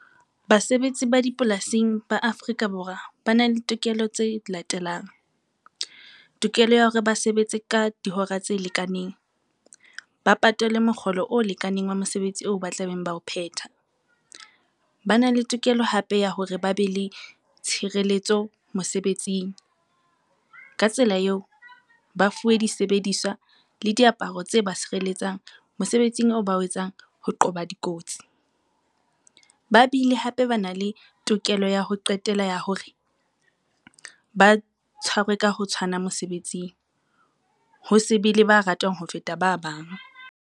Basebetsi ba dipolasing ba Afrika Borwa ba na le tokelo tse latelang. Tokelo ya hore ba sebetse ka dihora tse lekaneng, ba patalwe mokgolo o lekaneng wa mosebetsi oo ba tlabeng ba o phetha. Ba na le tokelo hape ya hore ba be le tshireletso mosebetsing ka tsela eo, ba fuwe disebediswa le diaparo tse ba sireletsang mosebetsing eo ba o etsang ho qoba dikotsi. Ba bile hape ba na le tokelo ya ho qetela ya hore ba tshwarwe ka ho tshwana mosebetsing, ho se be le ba ratwang ho feta ba bang.